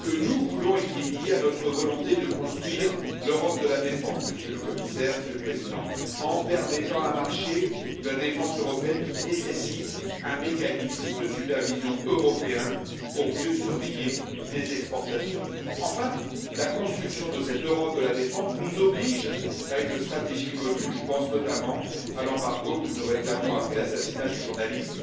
des exportations pour pouvoir construire l'Europe de la défense, Monsieur le Commissaire, Monsieur le Président, en mettant en place un marché de la défense européenne qui s'appuie sur un mécanisme de supervision européen pour mieux surveiller les exportations. Enfin, la construction de cette Europe de la défense nous oblige à élaborer une stratégie commune, je pense notamment à l'embargo que nous réclamons après l'assassinat du journaliste